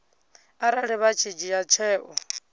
arali vha tshi dzhia tsheo